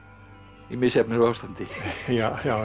í misjöfnu ástandi já já